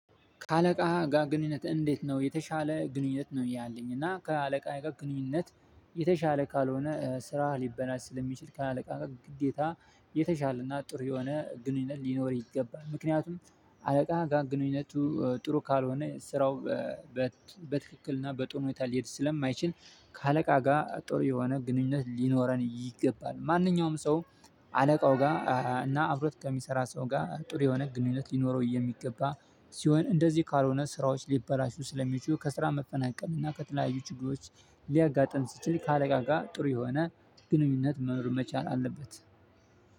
ከአለቃ ጋር ግንኙነት እንዴት ነው የተሻለ ግንኙነት ነው ያለኝ? እና ከአለቃ ጋር ግንኙነት የተሻለ ካልሆነ ስራ ሊበላሽ ስለሚችል ከአለቃ ግዴታ የተሻለና ጥሩ የሆነ ግንኙነት ሊኖር ይገባል ምክንያቱም አለቃ ጋር ግንኙነቱ ጥሩ ካልሆነ ስራው በትክክልና በጥሩ ሁኔታ ሊሄድ ስለማይችል ከአለቃ ጋር ጥሩ የሆነ ግንኙነት ሊኖረን ይገባል። ማንኛውም ሰው አለቃው ጋር እና አብሮት ከሚሰራ ሰው ጋር ጥሩ የሆነ ግንኙነት ሊኖረው የሚገባ ሲሆን እንደዚህ ካልሆነ ስራዎች ሊበላሹ ስለሚችሉ ከስራ መፈናቀልም እና ከተለያዩ ችግሮች። ሊያጋጥም ስችል ከአለቃ ጋር ጥሩ የሆነ ግንኙነት መኖር መቻል አለበት።